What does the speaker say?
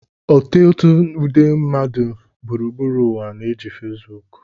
Ọtụtụ nde mmadụ gburugburu ụwa na-eji Fesbuku